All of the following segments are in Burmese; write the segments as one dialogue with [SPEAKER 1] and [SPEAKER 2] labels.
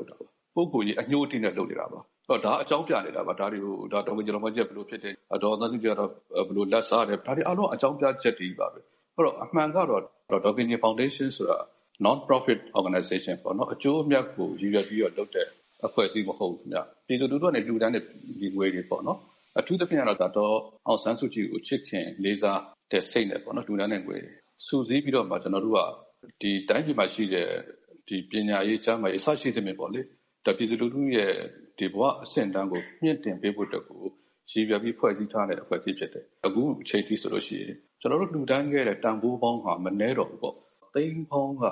[SPEAKER 1] လုပ်တာပါ ။ ပုဂ္ဂိုလ်ရေးအညှိးအတေးနဲ့ လုပ်နေတာပါ။ ဒါက အကြောင်းပြနေတာပါ ။ ဒေါ်ခင်ကြည်ဖောင်ဒေးရှင်းက ဘယ်လိုဖြစ်တယ်၊ ဒေါ်အောင်ဆန်းစုကြည်ကတော့ ဘယ်လိုလက်စားတယ်။ ဒါတွေအားလုံး အကြောင်းပြချက်တွေချည်းပါပဲ အဲဒီတော့ အမှန်ကတော့ ဒေါ်ခင်ကြည်ဖောင်ဒေးရှင်းဆိုတာ Non-profit Organization ပေါ့နော်။ အကျိုးအမြတ်ကို ရည်ရွယ်ပြီးတော့ လုပ်တဲ့အဖွဲ့အစည်းမဟုတ်ဘူး။ ပြည်သူလူထုကနေ လှူဒန်းတဲ့ငွေတွေပေါ့နော်၊ အထူးသဖြင့်ကတော့ ဒေါ်အောင်ဆန်းစုကြည်ကို ချစ်ခင်လေးစားတဲ့စိတ်နဲ့ လှူဒန်းတဲ့ငွေတွေ စုစည်းပြီးတော့မှ ကျနော်တို့က တိုင်းပြည်မှာရှိတဲ့ ပညာရေး ကျန်းမာရေး အစရှိသဖြင့်ပေါ့လေ ပြည်သူလူထုရဲ့ ဘဝအဆင့်အတန်းကို မြှင့်တင်ပေးဖို့အတွက်ကို ရည်ရွယ်ပြီး ဖွဲ့စည်းထားတဲ့ အဖွဲ့အစည်းဖြစ်တယ်။ အခုအချိန်အထိဆိုရင် ကျနော်တို့ လှူဒန်းခဲ့တဲ့တန်ဖိုးပေါင်းက မနည်းတော့ဘူးပေါ့ သိန်းပေါင်းက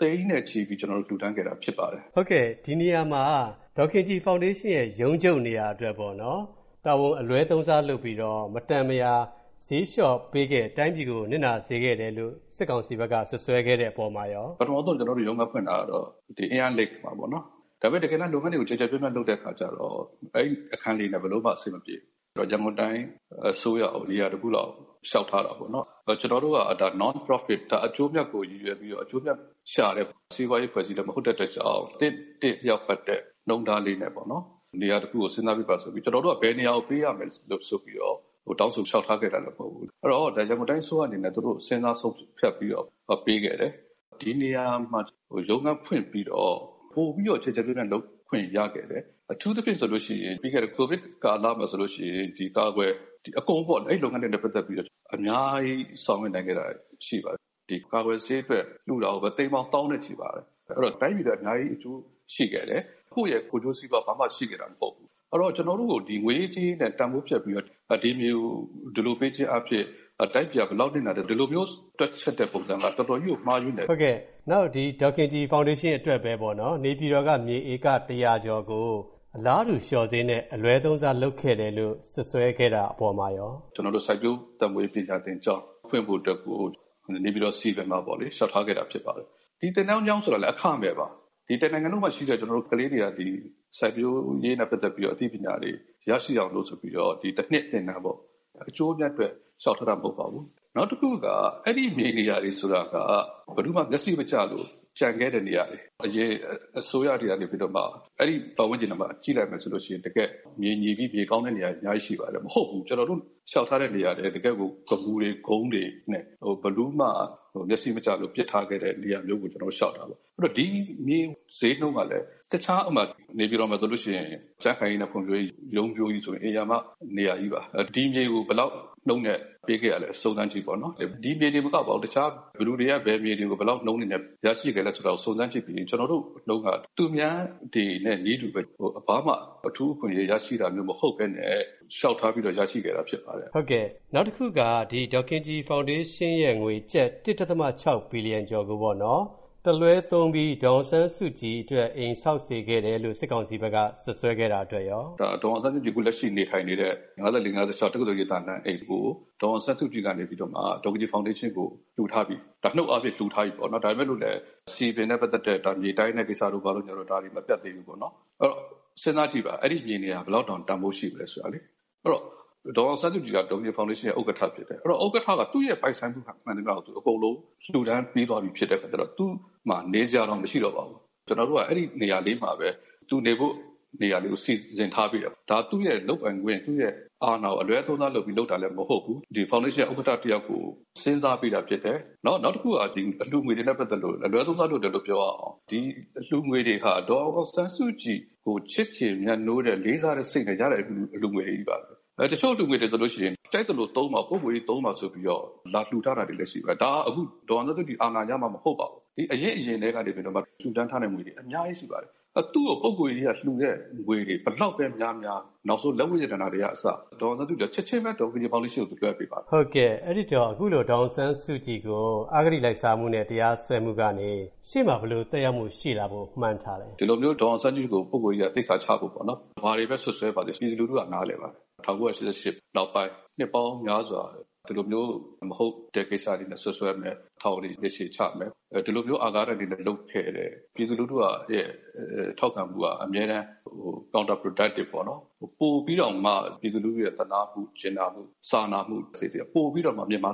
[SPEAKER 1] သိန်းနဲ့ ချီပြီလှူဒါန်းခဲ့တာ ဖြစ်ပါတယ်။
[SPEAKER 2] ဟုတ်ကဲ့ ဒီနေရာမှာ ဒေါ်ခင်ကြည်ဖောင်ဒေးရှင်းရဲ့ ရုံးချုပ်နေရာ အတွက်ပေါ့နော် တာဝန်အလွဲသုံးစားလုပ်ပြီးတော့ မတန်မရာ ဈေးလျော့ပေးခဲ့ တိုင်းပြည်ကို နစ်နာစေခဲ့တယ်လို့ စစ်ကောင်စီဘက်က စွပ်စွဲခဲ့တဲ့အပေါ်မှာရော
[SPEAKER 1] ပထမဦးဆုံး ကျနော်တို့ ရုံးဖွင့်ထားတာတော့ အင်းယားလိတ်မှာပေါ့နော် ဒါပေမယ့် လုပ်ငန်းတွေကို ကျယ်ကျယ်ပြန့်ပြန့်လုပ်တဲ့အခါမှာတော့ အဲဒီအခန်းတွေနဲ့ ဘယ်လိုမှ အဆင်မပြေဘူး၊ ရန်ကုန်တိုင်းအစိုးရကို နေရာတခုလောက်လျှောက်ထားတာပေါ့နော်။ ကျနော်တို့က Non- Profit အကျိုးအမြတ်ကို ရည်ရွယ်ပြီးတော့ စီးပွားရှာတာမဟုတ်တဲ့အတွက်ကြောင့် သင့်တင့်လျောက်ပတ်တဲ့ နှုန်းထားလေးနဲ့ပေါ့နော် နေရာတခုကို စဉ်းစားပေးပါဆိုပြီး ၊ ကျနော်တို့က ဘယ်နေရာကို ပေးရမယ်ဆိုပြီးတော့ တောင်းဆိုလျောက်ထားခဲ့တာလည်း မဟုတ်ဘူး။ အဲဒီတော့ ရန်ကုန်တိုင်းအစိုးရအနေနဲ့ သူတို့ စဉ်းစားဆုံးဖြတ်ပြီးတော့ ပေးခဲ့တယ်။ ဒီနေရာမှာ ရုံးခန်းဖွင့်ပြီးတော့ ပိုပြီးတော့ ကျယ်ကျယ်ပြန့်ပြန့် လုပ်ခွင့်ရခဲ့တယ်။ အထူးသဖြင့်ဆိုရင် ပြီးခဲ့တဲ့ ကိုဗစ်ကာလမှာ ဒီအကာအကွယ်အဲဒီလုပ်ငန်းတွေနဲ့ ပတ်သက်ပြီးတော့ အများကြီးဆောင်ရွက်နိုင်ခဲ့တာရှိပါတယ်။ ကာကွယ်ဆေးအတွက်လှူတာကိုပဲ သိန်းပေါင်းသောင်းနဲ့ ချီပါတယ်။ အဲဒီတော့ တိုင်းပြည်အတွက် အများကြီးအကျိုးရှိခဲ့တယ်။ ကိုယ့်ရဲ့ ကိုယ်ကျိုးစီးပွားဘာမှ ရှိခဲ့တာမဟုတ်ဘူး။ အဲဒီတော့ ကျနော်တို့ကို ငွေရေးကြေးရေးနဲ့ တန်ဖိုးဖြတ်ပြီးတော့ ဒီမြေကို ဒီလိုပေးခြင်းအားဖြင့် တိုင်းပြည်က ဘယ်လောက်နစ်နာတယ် ဒီလိုမျိုးဆုံးဖြတ်တွက်ချက်တဲ့ပုံစုံက တော်တော်ကြီးကို မှားယွင်းတယ်။
[SPEAKER 2] ဟုတ်ကဲ့ နောက်ဒီ ဒေါ်ခင်ကြည်ဖောင်ဒေးရှင်းအတွက်ပဲပေါ့နော် နေပြည်တော်က မြေဧက ၁၀၀ ကျော်ကို အလားတူ လျော့ဈေးနဲ့အလွဲသုံးစားလုပ်ခဲ့တယ်လို့ စွပ်စွဲခဲ့တဲ့အပေါ်မှာရော
[SPEAKER 1] ကျနော်တို့ စိုက်ပျိုးအသက်မွေးဝမ်းပညာသင်ကျောင်း ဖွင့်ဖို့အတွက်ကို နေပြည်တော် စည်ပင်မှာလျောက်ထားခဲ့တာဖြစ်ပါတယ်။ ဒီသင်တန်းကျောင်းဆိုတာလည်း အခမဲ့ပါ။ ဒီတနိုင်ငံလုံးမှာရှိတဲ့ ကလေးတွေက ဒီစိုက်ပျိုးရေးနဲ့ ပတ်သက်တဲ့ အသိပညာတွေရရှိအောင်လို့ ဆိုပြီးတော့ ၁ နှစ်သင်တန်းပေါ့ အကျိုးအမြတ်အတွက်လျှောက်ထားတာမဟုတ်ပါဘူး။ နောက်တခုက အဲဒီမြေနေရာတွေဆိုတာက ဘယ်သူမှ မျက်စိမကျလို့ ကျန်ခဲ့တဲ့ နေရာတွေ ။ အရင်အစိုးရတွေကနေပြီးတော့မှ အဲဒီပတ်ဝန်းကျင်ထဲမှာ ကြည့်လိုက်မယ်ဆိုရင် တကယ့် မြေညီပြီး၊ မြေကောင်းတဲ့နေရာတွေ ရှိပါတယ်။ အဲလို မဟုတ်ဘူး၊ ကျနော်တို့ လျောက်ထားတဲ့နေရာက တကယ့်ကို ဂမူတွေ ကုန်းတွေနဲ့ ဘယ်သူမှ မျက်စိမကျလို့ ပစ်ထားခဲ့တဲ့ နေရာမျိုးကို ကျနော်တို့ လျောက်တာပါ။ နောက် ဒီမြေဈေးနှုန်းကလည်း တခြား ဥပမာ၊ နေပြည်တော်မှာဆိုရင် ကြံခိုင်ဖွံ့ဖြိုးရေး ရုံးကြီးဆိုရင် ဧရာမ နေရာကြီးပါ။ ဒီမြေကို ဘယ်လောက်နှုန်းနဲ့ ပေးခဲ့ရသလဲ စုံစမ်းကြည့်ပေါ့နော်၊ ဒီမြေတင်မကပါဘူး တခြား ဘယ်မြေတွေကို ဘယ်လောက်နှုန်းနဲ့ ရရှိ သလဲကို စုံစမ်းကြည့်ပြီးရင် ကျွန်တော်တို့ နှုန်းက သူများတွေနဲ့ နည်းတူပဲ၊ ဘာမှ အထူးအခွင့်အရေးရရှိတာမျိုး မဟုတ်ပဲနဲ့ လျှောက်ထားပြီးတော့ ရရှိတာဖြစ်ပါတယ်။
[SPEAKER 2] ဟုတ်ကဲ့ နောက်တခုက ဒီနေရာမှာ ဒေါ်ခင်ကြည်ဖောင်ဒေးရှင်းရဲ့ ငွေကျပ် ၁.၆ ဘီလံကျော်ကိုပေါ့နော် တလွဲသုံးပြီး ဒေါ်အောင်ဆန်းစုကြည်အတွက် အိမ်ဆောက်စေခဲ့တယ်လို့ စစ်ကောင်စီဘက်က စွပ်စွဲခဲ့တာအတွက်ရော။
[SPEAKER 1] ဒေါ်အောင်ဆန်းစုကြည် အခုလက်ရှိနေထိုင်နေတဲ့ အမှတ် ၅၄-၅၆ တက္ကသိုလ်ရိပ်သာလမ်းအိမ်ကို ဒေါ်အောင်ဆန်းစုကြည်ကနေပြီးတော့မှ ဒေါ်ခင်ကြည်ဖောင်ဒေးရှင်းကို လှူထားပြီ ၊ နှုတ်အားဖြင့်လှူထားပြီပေါ့နော် ဒါပေမယ့် စည်ပင်နဲ့ပတ်သက်တဲ့ မြေတိုင်းတို့ဘာတို့ ကိစ္စတွေ မပြီးသေးဘူးပေါ့နော်။ အဲဒီတော့ စဉ်းစားကြည့်ပါ အဲဒီမြေနေရာ ဘယ်လောက်တောင်တန်ဖိုးရှိမလဲဆိုတာလေ။ အဲဒီတော့ ဒေါ်အောင်ဆန်းစုကြည်က ဒေါ်ခင်ကြည်ဖောင်ဒေးရှင်းရဲ့ ဥက္ကဋ္ဌဖြစ်တယ်။ အဲဒီတော့ ဥက္ကဋ္ဌက သူ့ပိုင်ဆိုင်မှုကို သူက အကုန်လုံးလှူဒန်းပေးပြီးသွားပြီဖြစ်တယ်၊ သူ့မှာနေစရာတောင်မရှိတော့ပါဘူး။ ကျနော်တို့က အဲဒီနေရာလေးမှာ သူနေဖို့ နေရာလေးကို စီစဉ်ထားပေးတယ်၊ ဒါသူ့လုပ်ပိုင်ခွင့် သူအာဏာကို အလွဲသုံးစားလုပ်ပြီးလုပ်တာလည်းမဟုတ်ဘူး ဖောင်ဒေးရှင်း ဥက္ကဋ္ဌ တယောက်ကို စဉ်းစားပေးတာဖြစ်တယ်။ နောက်တခုက အလှူငွေတွေနဲ့ ပတ်သက်လို့ အလွဲသုံးစားလုပ်တယ်လို့လည်း ပြောရအောင် ဒီအလှူငွေတွေဟာ ဒေါ်အောင်ဆန်းစုကြည်ကို ချစ်ခင်မြတ်နိုးတဲ့ လေးစားတဲ့စိတ်နဲ့ ရတဲ့အလှူငွေတွေချည်းပါပဲ။ တချို့အလှူငွေတွေဆိုရင် ကြိုက်သလိုသုံးပါ ပုဂ္ဂိုလ်ရေးသုံးပါ ဆိုပြီးတော့ လာလှူထားတာတွေလည်းရှိပါတယ် ။ ဒါက ဒေါ်အောင်ဆန်းစုကြည် အာဏာရမှ မဟုတ်ပါဘူး အရင့်အရင် ကတည်းကနေပြီးတော့ လှူဒန်းထားတာတွေအများကြီးရှိပါတယ်။ သူ့ကို ပုဂ္ဂိုလ်ရေးအရ လှူတဲ့ငွေတွေ ဘယ်လောက်ပဲများများ၊ နောက်ဆုံးလက်ဝတ်ရတနာတွေကအစ ဒေါ်အောင်ဆန်းစုကြည်က ချက်ချင်းပဲ ဒေါ်ခင်ကြည်ဖောင်ဒေးရှင်းကို သူ လွှဲပေးပါတယ်။
[SPEAKER 2] ဟုတ်ကဲ့ အဲဒီတော့ အခုလို ဒေါ်အောင်ဆန်းစုကြည်ကို အဂတိလိုက်စားမှုနဲ့ တရားစွဲမှုကနေပြီးတော့ ရှေ့မှာ ဘယ်လိုသက်ရောက်မှုရှိလာဖို့ မှန်းထားသလဲ။
[SPEAKER 1] ဒီလိုမျိုး ဒေါ်အောင်ဆန်းစုကြည်ကို ပုဂ္ဂိုလ်ရေးအရ သိက္ခာချဖို့ ဘာတွေပဲ စွပ်စွဲပါစေ ပြည်သူလူထုက နားလည်ပါတယ်။ ၁၉၈၈ နောက်ပိုင်း နှစ်ပေါင်းများစွာ၊ ဒီလိုမျိုး မဟုတ်တဲ့ ကိစ္စတွေနဲ့ စွပ်စွဲမယ်၊ ထောင်တွေနှစ်ရှည်ချမယ် ဒီလိုမျိုး အာဃာတတွေနဲ့ လုပ်ခဲ့တယ်။ ပြည်သူလူထုရဲ့ ထောက်ခံမူက အမြဲတမ်း၊ ဟို counterproductive ပေါ့နော၊် ပိုပြီးတောင်မှ ပြည်သူလူထုရဲ့ သနားမှု ကျင်နာမှု စာနာမှုစိတ်တွေက ပိုပြီးတောင်မှ မြင်မာ